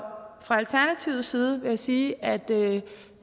fra alternativets side vil jeg sige at